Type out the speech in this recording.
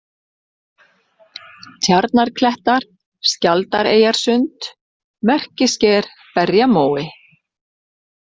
Tjarnarklettar, Skjaldareyjarsund, Merkisker, Berjamói